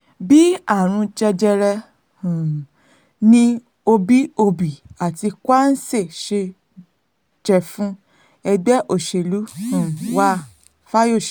bíi àrùn jẹjẹrẹ um ni òbí òbí àti kwanse jẹ́ fún ẹgbẹ́ òṣèlú um wa- fayose